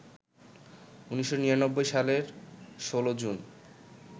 ১৯৯৯ সালের ১৬ জুন